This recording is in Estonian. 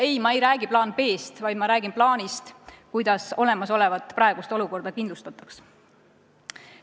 Ei, ma ei räägi plaanist B, vaid ma räägin plaanist, kuidas olemasolevat, praegust olukorda kindlustada.